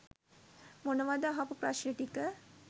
මොනවද අහපු ප්‍රශ්න ටික.